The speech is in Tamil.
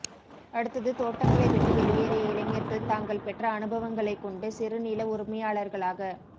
அடுத்தது தோட்டங்களை விட்டு வெளியேறிய இளைஞர்கள் தாங்கள் பெற்ற அனுபவங்களைகொண்டு சிறு நில உரிமையாளர்களாக